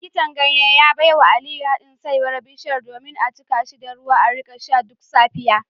Likitan ganye ya baiwa Aliyu hadin saiwar bishiya domin a jika shi da ruwa a rika sha duk safiya